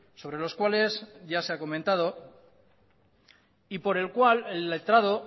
sobre los cuales ya se ha comentado y por el cual el letrado